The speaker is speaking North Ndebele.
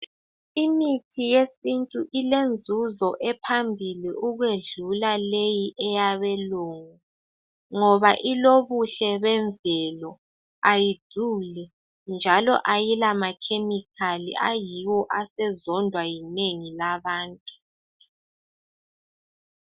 Imithi yesintu ilenzuzo ephambili ukwedlula leyi eyabelungu, ngoba ilobuhle bemvelo, ayiduli, njalo ayila makhemikhali ayiwo asezondwa yinengi labantu.